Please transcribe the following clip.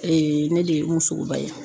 ne de ye Umu Sogoba ye